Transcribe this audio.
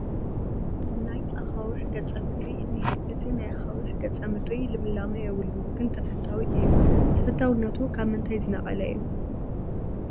ናይ ኣኻውሕ ገፀ ምድሪ እኒሀ፡፡ እዚ ናይ ኣኻውሕ ገፀ ምድሪ ልምላመ የብሉን ግን ተፈታዊ እዩ፡፡ ተፈታውነቱ ካብ ምንታይ ዝነቐለ እዩ?